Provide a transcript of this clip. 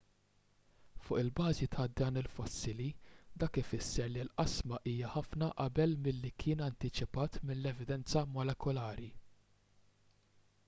fuq il-bażi ta' dan il-fossili dak ifisser li l-qasma hija ħafna qabel milli kien antiċipat mill-evidenza molekulari